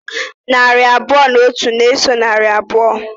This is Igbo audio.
Narị abụọ na otu na-eso narị abụọ.